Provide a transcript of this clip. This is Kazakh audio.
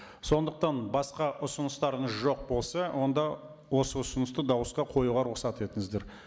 сондықтан басқа ұсыныстарыңыз жоқ болса онда осы ұсынысты дауысқа қоюға рұқсат етіңіздер